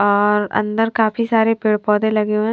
और अंदर काफी सारे पेड़ पौधे लगे हुए हैं।